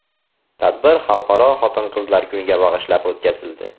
Tadbir Xalqaro Xotin-qizlar kuniga bag‘ishlab o‘tkazildi.